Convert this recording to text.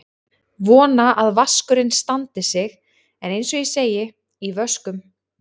Vona að vaskurinn standi sig en eins og ég segi: í vöskum.